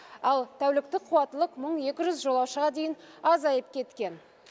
ал тәуліктік қуаттылық мың екі жүз жолаушыға дейін азайып кеткен